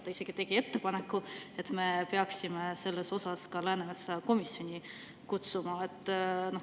Ta tegi isegi ettepaneku, et me peaksime selle tõttu ka Läänemetsa komisjoni kutsuma.